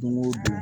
Don o don